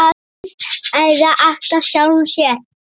Lygin eyðir alltaf sjálfri sér.